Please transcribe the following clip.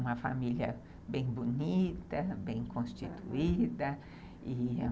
Uma família bem bonita, bem constituída, e